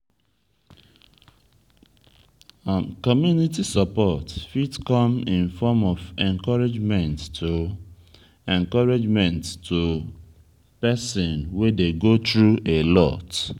community support fit come in form of encouragement to encouragement to person wey dey go through a lot